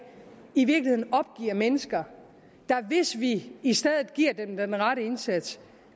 i virkeligheden opgiver mennesker der hvis vi i stedet giver dem den rette indsats